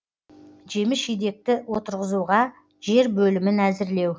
жеміс жидекті отырғызуға жер бөлімін әзірлеу